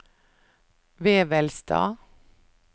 Vevelstad